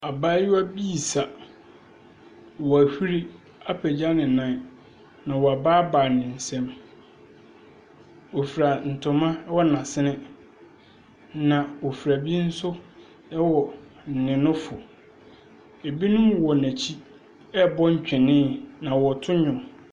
Abaayewa bii sa. W'ahuri apagya ne nan na w'abaabae ne nsam. Ɔfira ntoma ɛwɔ n'asene na ɔfira bi nso ɛwɔ ne nofo. Ɛbinom wɔ n'akyi, ɛɛbɔ ntwenee na wɔɔto nnwom.